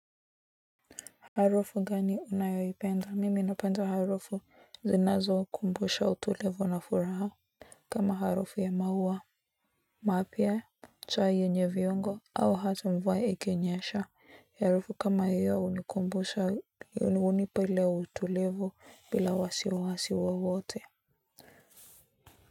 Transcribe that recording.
Harufu gani unayoipenda mimi napenda harufu zinazo kumbusha utulivu na furaha kama harufu ya maua mapya cha yenye viongo au hata mvua ikinyesha harufu kama hiyo hunikumbusha hunipa ile utulivu bila wasiwasi wowote.